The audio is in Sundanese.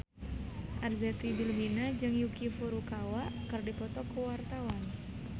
Arzetti Bilbina jeung Yuki Furukawa keur dipoto ku wartawan